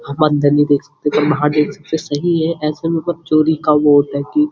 हम अंदर नहीं सकते हम बहार देख सकते सही है ऐसे में चोरी का वो होता है की --